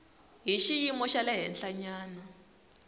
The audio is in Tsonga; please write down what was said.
hi xiyimo xa le henhlanyana